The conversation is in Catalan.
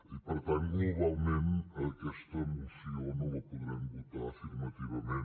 i per tant globalment aquesta moció no la podrem votar afirmativament